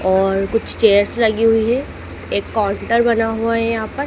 और कुछ चेयर्स लगी हुई है एक काउंटर बना हुआ है यहां प--